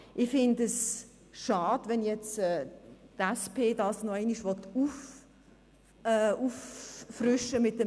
Ich finde es schade, wenn die SP-JUSO-PSA-Fraktion das nun mit einem Bericht noch einmal auffrischen will.